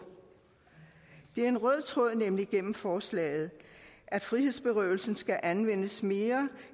det er nemlig en forslaget at frihedsberøvelsen skal anvendes mere